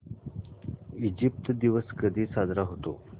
Egypt दिवस कधी साजरा होतो